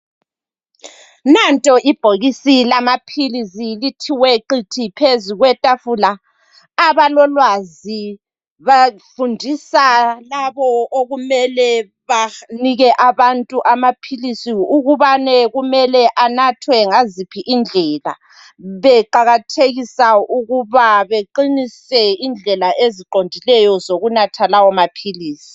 Nanto ibhokisi lamaphilisi lithiwe qithi phezu kwetafula. Abalolwazi bafundisa labo okumele banike abantu amaphilisi ukubane kumele anathwe ngaziphi indlela, beqakathekisa ukuba beqinise indlela eziqondileyo zokunatha lawo maphilisi.